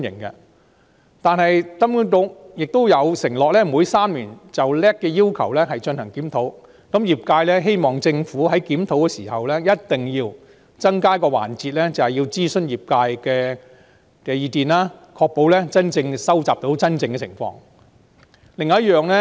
然而，金管局亦承諾每3年就 LAC 的要求進行檢討，業界希望政府在檢討時一定要增加一個諮詢業界意見的環節，確保能收集反映真實情況的資料。